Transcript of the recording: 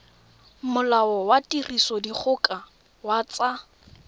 molao wa tirisodikgoka wa tsa